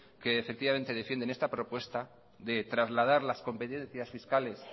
que defienden esta propuesta de trasladar las competencias fiscales